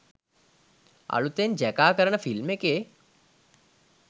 අලුතෙන් ජැකා කරන ෆිල්ම් එකේ